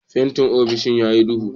Fentin ofis ya yi duhu